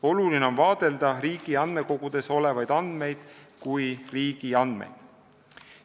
Oluline on vaadelda riigi andmekogudes olevaid andmeid kui riigi andmeid.